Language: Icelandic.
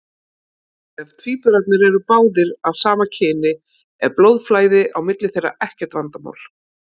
Ef tvíburarnir eru báðir af sama kyni er blóðflæði á milli þeirra ekkert vandamál.